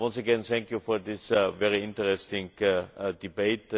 Once again thank you for this very interesting debate.